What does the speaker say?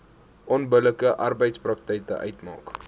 onbillike arbeidspraktyk uitmaak